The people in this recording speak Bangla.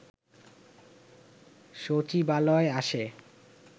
সচিবালয়ে আসে